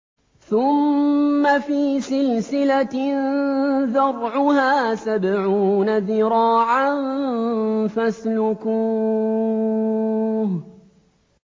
ثُمَّ فِي سِلْسِلَةٍ ذَرْعُهَا سَبْعُونَ ذِرَاعًا فَاسْلُكُوهُ